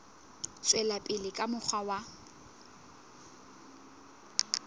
tswela pele ka mokgwa wa